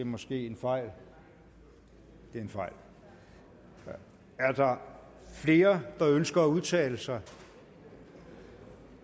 måske en fejl det er en fejl er der flere der ønsker at udtale sig